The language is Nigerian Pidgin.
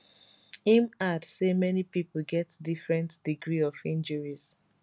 im add say many pipo get different degree of injuries